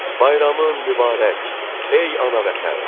Bayramın mübarək, ey ana vətən.